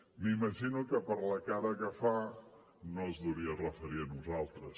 m’imagino que per la cara que fa no es deuria referir a nosaltres